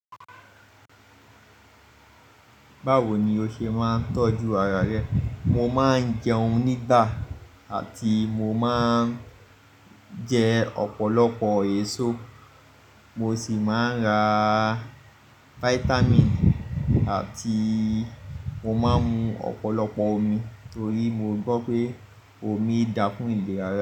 Báwo ni o ṣe máa ń tọ́jú ara rẹ? Mo máa ń jẹun nígbà àti mo máa ń jẹ ọ̀pọ̀lọpọ̀ èso, mo sì máa ń raa vitamin àti mo máa ń mu ọ̀pọ̀lọpọ̀ omi torí mo gbọ̀ pé omi da fún ìlera.